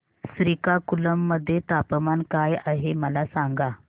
श्रीकाकुलम मध्ये तापमान काय आहे मला सांगा